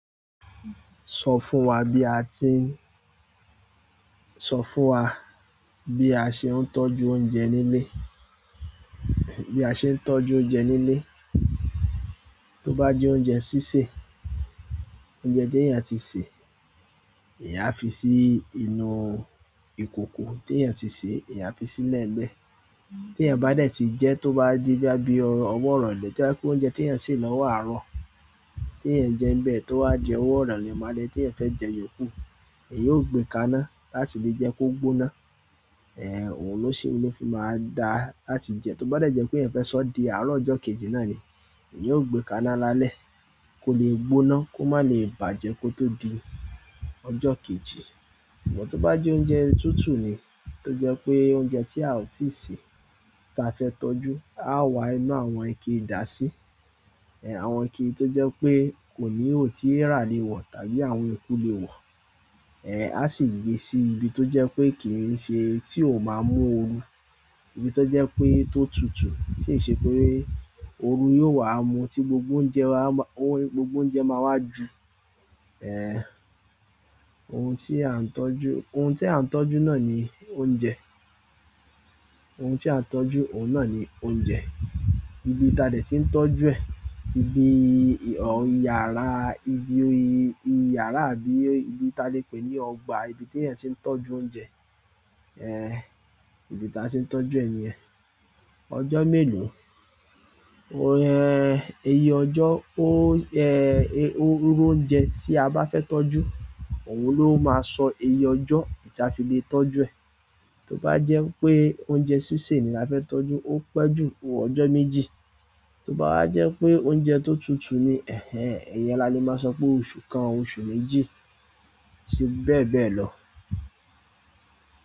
Sọ fún wa bí a ti ń, sọ fún wa bí a ṣe ń tọ́jú oúnjẹ nílé, bí a ṣe ń tọ́jú oúnjẹ nílé. Tó bá jẹ́ oúnjẹ sísè, oúnjẹ téèyàn ti sè, èèyàn á fi sí inú ìkòkò téèyàn ti sèé, èèyàn á fi sílẹ̀ ńbẹ̀. Téèyàn bá dẹ̀ ti jẹẹ́ tó bá di bóyá bí ọwọ́ ìrọ̀lẹ́ tó bá jẹ́ pé oúnjẹ téèyàn sè lọ́wọ́ àárọ̀ téèyàn jẹ ńbẹ̀ tó wá di ọwọ́ ìrọ̀lẹ́ m'álẹ́ téèyàn fẹ́ jẹ yòókù. Èèyàn óò gbé e kaná láti lè jẹ́ kó gbóná, òun ló ṣe, òun ló fi máa dá láti jẹ tó bá dẹ̀ jẹ́ pé èèyàn fẹ́ sọọ́ di àárọ̀ ọjọ́ kejì náà ni, èèyàn óò gbé e kaná lálẹ́ kó lè gbóná kó má lè bàjẹ́ kó tó di ọjọ́ kejì. Ṣùgbọ́n tó bá jẹ́ oúnjẹ tútù ni, tó jẹ́ pé oúnjẹ tí a ò tíì sè táa fẹ́ tọ́jú, àá wá inú àwọn ike dàá sí. Àwọn ike tó jẹ́ pé kò níhò tí èèrà lè wọ̀ tàbí àwọn eku lè wọ̀, aá sì gbé sí ibi tó jẹ́ pé kì í ṣe tí ò máa mú ooru. Ibi tó jẹ́ pé tó tutù tí ì ṣe pé ooru yóò wá mu tí gbogbo oúnjẹ wa, gbogbo oúnjẹ máa wá ju. Ohun tí à ń tọ́jú, ohun tí à ń tọ́jú náà ni oúnjẹ. Ohun tí à ń tọ́jú, òun náà ni oúnjẹ. Ibi táa dẹ̀ tí ń tọ́jú ẹ̀, ibi yàrá, ibi yàrá àbí ibi táa lè pè ní ọgbà, ibi téèyàn ti ń tọ́jú oúnjẹ, ibi táa ti ń tọ́jú ẹ̀ nìyẹn. Ọjọ́ mélòó, iye ọjọ́ ó, irú oúnjẹ tí a bá fẹ́ tọ́jú òun ló máa sọ iye ọjọ́ tí a fi lè tọ́jú ẹ̀. Tó bá jẹ́ wípé oúnjẹ sísè ni a fẹ́ tọ́jú, ó pẹ́ ju ọjọ́ méjì. Tó bá wá jẹ́ pé oúnjẹ tó tutù ni, ẹ́hẹ̀n ìyẹn la le máa sọ pé oṣù kan, oṣù méjì sí bẹ́ẹ̀ bẹ́ẹ̀ lọ.